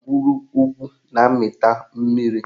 Ndagwurugwu na-amịta mmiri